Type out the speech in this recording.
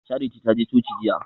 Charity ta je coci jiya